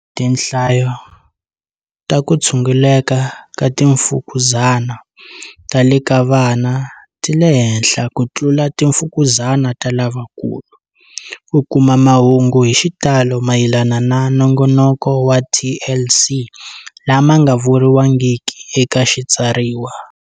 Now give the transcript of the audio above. Tinhlayo ta ku tshunguleka ka timfukuzani ta le ka vana ti le henhla ku tlula timfukuzani ta lavakulu. Ku kuma mahungu hi xitalo mayelana na Nongonoko wa TLC lama nga vuriwangiki eka xitsariwa.